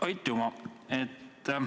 Aitüma!